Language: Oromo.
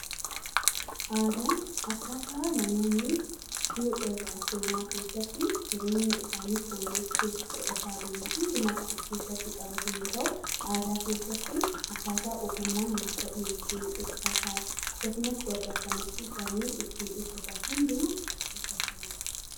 Aadaan akkaataa namoonni seenaa keessatti jireenya isaanii fooyyessuuf godhataa deeman hundumaa kan of keessatti qabatu yoo ta'u, aadaa keessatti akkaataa ogummaa nyaata dhiyeessuu, uffata akkasumas gaddaa fi gammachuu isaanii ittiin ibsatan hundumaa of keessatti hammata.